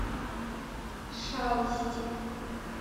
шалости